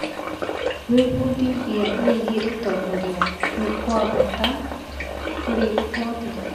Gwĩbundithia wĩgiĩ ũtongoria nĩ gwa bata kũrĩ oothe.